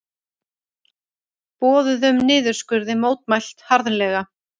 Boðuðum niðurskurði mótmælt harðlega